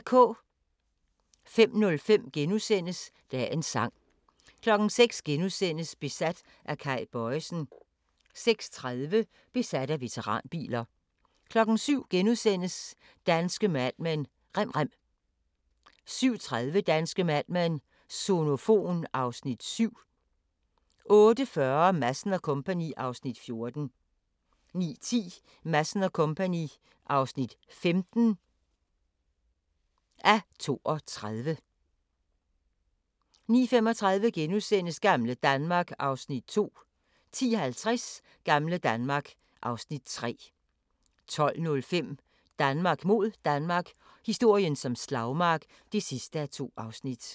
05:05: Dagens sang * 06:00: Besat af Kay Bojesen * 06:30: Besat af veteranbiler 07:00: Danske Mad Men: Rem rem * 07:30: Danske Mad Men: Sonofon (Afs. 7) 08:40: Madsen & Co. (14:32) 09:10: Madsen & Co. (15:32) 09:35: Gamle Danmark (Afs. 2)* 10:50: Gamle Danmark (Afs. 3) 12:05: Danmark mod Danmark – historien som slagmark (2:2)